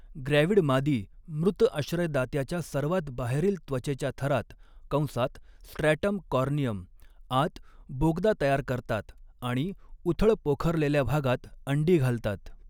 Gravid मादी मृत आश्रयदात्याच्या सर्वात बाहेरील त्वचेच्या थरात कंसात स्ट्रॅटम कॉर्नियम आत बोगदा तयार करतात आणि उथळ पोखरलेल्या भागात अंडी घालतात.